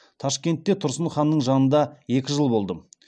ташкентте тұрсын ханның жанында екі жыл болдым